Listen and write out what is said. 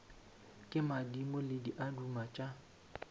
ke madimo le diaduma tša